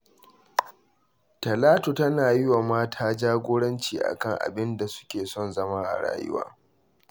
Talatu tana yi wa mata jagoranci a kan abin da suke son zama a rayuwa.